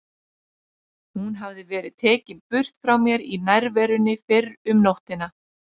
Hún hafði verið tekin burt frá mér í nærverunni fyrr um nóttina.